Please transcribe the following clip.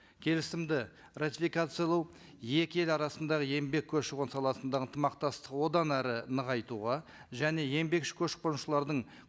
келісімді ратификациялау екі ел арасындағы еңбек көші қон саласындағы ынтымақтастығы одан әрі нығайтуға және еңбекші көшіп қонушылардың